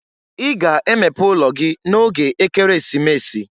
I ga emepe ụlọ gị n'oge Ekeresimesi!